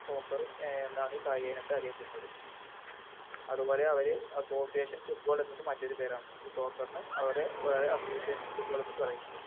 Soccer അഹ് എന്നാണീ കായികയിനത്തെ അറിയപ്പെടുന്നത് അതുപോലെ അവര് Association football എന്നത് മറ്റൊരു പേരാണ് ഈ Soccer ന് അവര് Association football എന്നും പറയുന്നുണ്ട്